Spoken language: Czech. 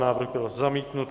Návrh byl zamítnut.